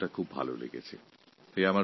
এই শব্দটি আমার খুব ভাল লেগেছে